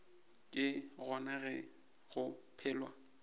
ke gona ge go phelwa